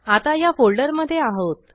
आता ह्या फोल्डरमधे आहोत